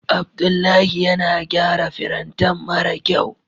Abdullahi yana gyara firintan mara kyau.